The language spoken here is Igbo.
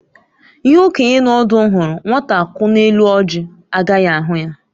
Ihe okenye n'ọdụ hụrụ, nwate ku n'elu ọjị agaghị ahụ ya.